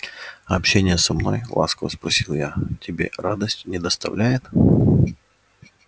а общение со мной ласково спросила я тебе радость не доставляет